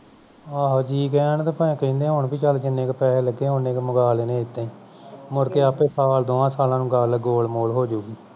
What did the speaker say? ਆਹੋ ਜੀ ਕਹਿਣ ਤੇ ਭਾਵੇਂ ਕਹਿੰਦੇ ਹੋਣ ਪੀ ਜਿੰਨੇ ਕੁ ਪੈਸੇ ਲਗੇ ਉਹ ਨੇਕ ਮੰਗਾ ਲੈਨੇ ਆਂ ਇਦਾਂ ਹੀ ਮੁੜ ਕੇ ਆਪੇ ਸਾਲ ਦੌਹਾਂ ਸਾਲਾਂ ਨੂੰ ਗਲ ਗੋਲ-ਮੋਲ ਹੋ ਜਾਊਗੀ